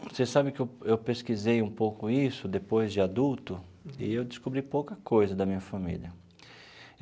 Você sabe que eu eu pesquisei um pouco isso depois de adulto, e eu descobri pouca coisa da minha família.